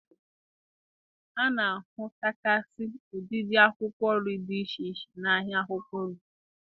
A na-ahụtagasị ụdịdị akwụkwọ nri dị iche iche n'ahịa akwụkwọ nri.